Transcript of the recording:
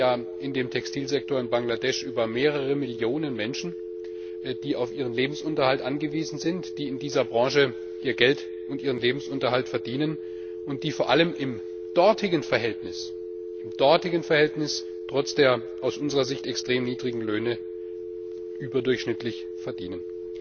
Denn wir reden ja im Textilsektor in Bangladesch über mehrere Millionen Menschen, die auf ihren Lebensunterhalt angewiesen sind, die in dieser Branche ihr Geld und ihren Lebensunterhalt verdienen und die vor allem im dortigen Verhältnis trotz der aus unserer Sicht extrem niedrigen Löhne überdurchschnittlich verdienen.